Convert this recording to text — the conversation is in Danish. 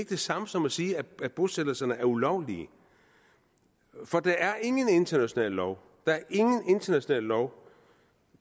det samme som at sige at bosættelserne er ulovlige for der er ingen international lov international lov